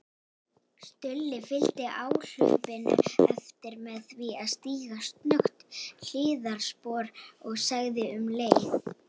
Stulli fylgdi áhlaupinu eftir með því að stíga snöggt hliðarspor og sagði um leið